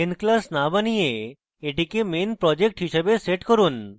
main class না বানিয়ে এটিকে main project হিসাবে set করুন